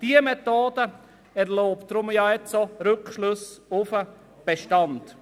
Diese Methode erlaubt nun auch Rückschlüsse auf den Bestand.